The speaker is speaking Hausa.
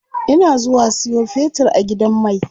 Ina zuwa siyo fetir a gidan mai.